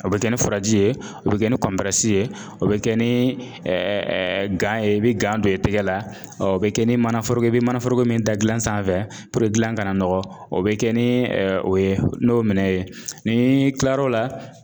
O bɛ kɛ ni furaji ye ,o be kɛ ni ye, o be kɛ nii ye i be don i tɛgɛ la, o be kɛ ni manaforoko ye i be manaforoko min da gilan sanfɛ gilan kana nɔgɔ o be kɛ ni o ye n'o minɛn ye. N'ii tilar'o la